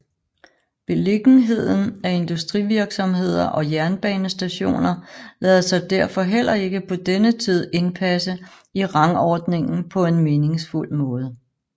Beliggenheden af industrivirksomheder og jernbanestationer lader sig derfor heller ikke på denne tid indpasse i rangordningen på en meningsfuld måde